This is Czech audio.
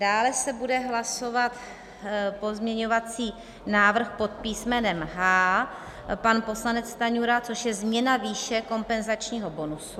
Dále se bude hlasovat pozměňovací návrh pod písmenem H - pan poslanec Stanjura, což je změna výše kompenzačního bonusu.